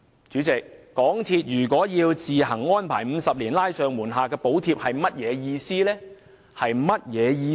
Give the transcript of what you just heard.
主席，港鐵公司自行安排50年"拉上瞞下"的補貼是甚麼意思？